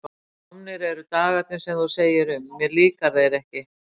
Komnir eru dagarnir sem þú segir um: mér líka þeir ekki.